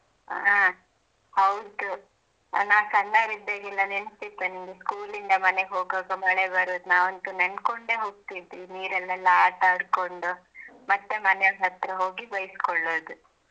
ಹಾಂ ಹೌದು ನಾವ್ ಸಣ್ಣವರಿದ್ದಾಗೆಲ್ಲಾ ನೆನಪಿತ್ತಾ ನಿನ್ಗೆ school ಇಂದ ಮನೆಗೆ ಹೋಗುವಾಗ ಮಳೆ ಬರುದು ನಾವ ಅಂತೂ ನೆನ್ಕೊಂಡೆ ಹೋಗ್ತಿದ್ವಿ ನೀರಲ್ಲೆಲ್ಲ ಆಟಾ ಆಡ್ಕೊಂಡು ಮತ್ತೆ ಮನೆಯವರ ಹತ್ರ ಹೋಗಿ ಬೈಸ್ಕೊಳ್ಳೋದು.